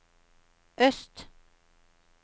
øst